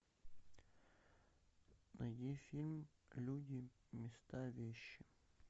найди фильм люди места вещи